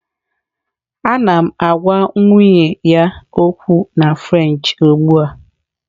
Ana m agwa nwunye ya okwu na French ugbu a